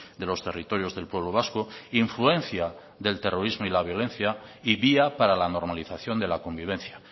de los territorios del pueblo vasco influencia del terrorismo y la violencia y vía para la normalización de la convivencia